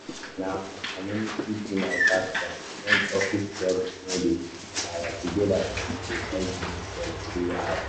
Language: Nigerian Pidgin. na my community be my backbone when office jobs no dey na our togetherness um dey help me scale through wahala.